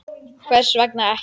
Hvers vegna ekki?